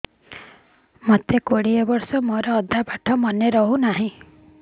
ମୋ କୋଡ଼ିଏ ବର୍ଷ ମୋର ଅଧା ପାଠ ମନେ ରହୁନାହିଁ